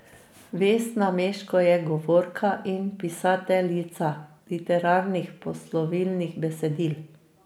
Vesna Meško je govorka in pisateljica literarnih poslovilnih besedil.